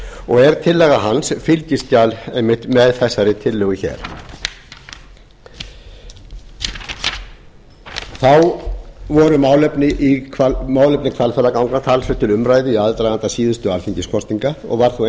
og er tillaga hans fylgiskjal með þessari tillögu þá voru málefni hvalfjarðarganga talsvert til umræðu í aðdraganda síðustu alþingiskosninga og var þá